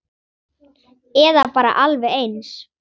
Eða bara alveg eins.